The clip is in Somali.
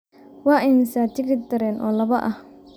Waa imisa tigidh tareen oo laba ah?